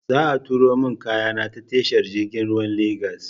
Za a turo min kayana ta tashar jirgin ruwa na Lagos.